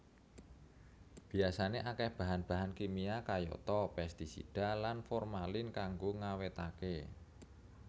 Biyasané akéh bahan bahan kimia kayata pestisida lan formalin kanggo ngawétaké